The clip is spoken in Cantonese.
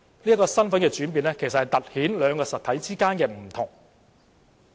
這個身份的轉變突顯兩個實體的不同。